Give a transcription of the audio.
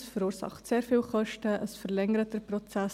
Es verursacht sehr viele Kosten, es verlängert den Prozess.